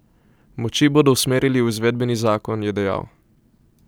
Moči bodo usmerili v izvedbeni zakon, je dejal.